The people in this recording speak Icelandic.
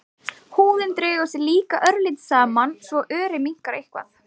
Húðin dregur sig líka örlítið saman svo örið minnkar eitthvað.